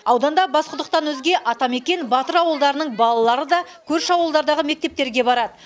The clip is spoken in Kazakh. ауданда басқұдықтан өзге атамекен батыр ауылдарының балалары да көрші ауылдардағы мектептерге барады